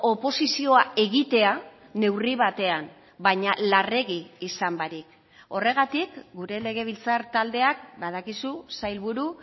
oposizioa egitea neurri batean baina larregi izan barik horregatik gure legebiltzar taldeak badakizu sailburu